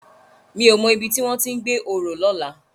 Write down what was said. Mi ó mò ibi tiwòn ti n gbé óró lòlá